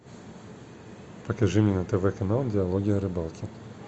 покажи мне на тв канал диалоги о рыбалке